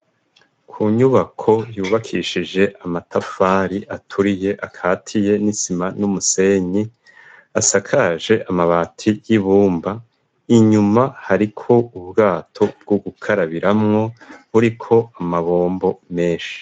Ku nyubako yubakishije amatafari aturiye akatiye n'isima n'umusenyi asakaje amabati y'ibumba inyuma hariko ubwato bw'ugukarabiramwo uri ko amabombo menshi.